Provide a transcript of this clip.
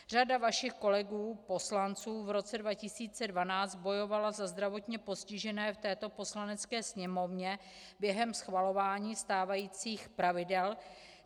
Řada vašich kolegů poslanců v roce 2012 bojovala za zdravotně postižené v této Poslanecké sněmovně během schvalování stávajících pravidel.